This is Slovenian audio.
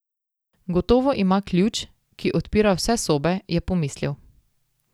Gotovo ima ključ, ki odpira vse sobe, je pomislil.